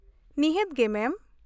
ᱱᱤᱦᱟᱹᱛ ᱜᱮ , ᱢᱮᱢ ᱾